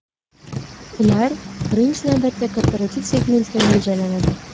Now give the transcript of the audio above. Ular, birinchi navbatda, korporativ segmentga mo‘ljallanadi.